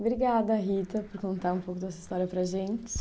Obrigada, Rita, por contar um pouco dessa história para a gente.